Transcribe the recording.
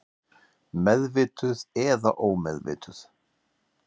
Meðvituð eða ómeðvituð.